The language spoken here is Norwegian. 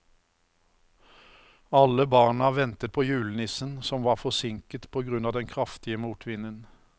Alle barna ventet på julenissen, som var forsinket på grunn av den kraftige motvinden.